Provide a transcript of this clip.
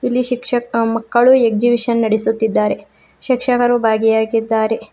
ಇಲ್ಲಿ ಶಿಕ್ಷಕ ಮಕ್ಕಳು ಎಕ್ಸಿಬಿಷನ್ ನಡೆಸುತ್ತಿದ್ದಾರೆ ಶಿಕ್ಷಕರು ಭಾಗಿಯಾಗಿದ್ದಾರೆ.